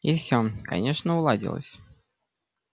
и все конечно уладилось